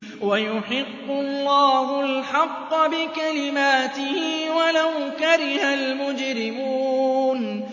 وَيُحِقُّ اللَّهُ الْحَقَّ بِكَلِمَاتِهِ وَلَوْ كَرِهَ الْمُجْرِمُونَ